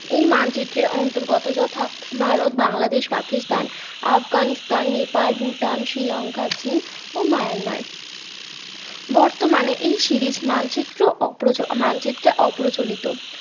এই মানচিত্রের অন্তর্গত যথা ভারত বাংলাদেশ পাকিস্তান আফগানিস্তান নেপাল ভুটান শ্রীলংকা ও মায়ানমার বর্তমানে এই series মানচিত্র অপ্র মানচিত্র অপ্রচিলত